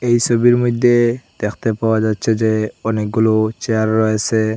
এই সোবির মইদ্যে দ্যাখতে পাওয়া যাচ্ছে যে অনেকগুলো চেয়ার রয়েসে।